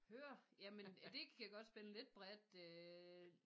Hører jamen det kan godt spænde lidt bredt øh